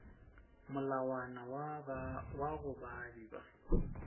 molawana wa go baabi ba